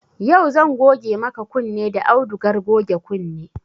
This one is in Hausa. Yau zan goge maka kunne da audugar goge kunne